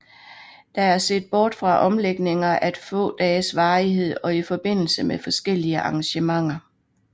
Der er set bort fra omlægninger af få dages varighed og i forbindelse med forskellige arrangementer